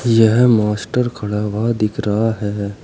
यह मास्टर खड़ा हुआ दिख रहा है।